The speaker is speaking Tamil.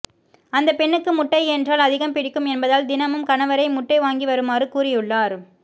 அந்த பெண்ணுக்கு முட்டை என்றால் அதிகம் பிடிக்கும் என்பதால் தினமும் கணவரை முட்டை வாங்கிவருமாறு கூறியுள்ளார்